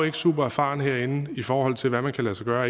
ikke supererfaren herinde i forhold til hvad der kan lade sig gøre og